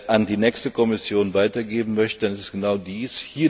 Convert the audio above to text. an die nächste Kommission weitergeben möchte, dann ist es genau dies.